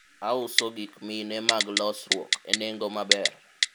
auso gik mine mag losruok e nengo maber